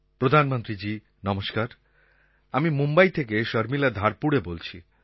প্রধানমন্ত্রীজী নমস্কার আমি মুম্বই থেকে শর্মিলা ধারকুড়ে বলছি